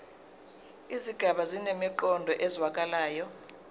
izigaba zinemiqondo ezwakalayo